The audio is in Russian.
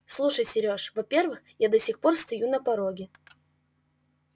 слушай серёж во-первых я до сих пор стою на пороге